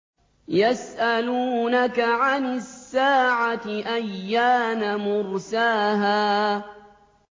يَسْأَلُونَكَ عَنِ السَّاعَةِ أَيَّانَ مُرْسَاهَا